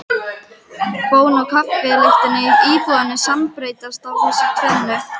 Bón og kaffi lyktin í íbúðinni sambreyskja af þessu tvennu.